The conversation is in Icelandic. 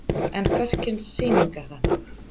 En hvers kyns sýning er þetta?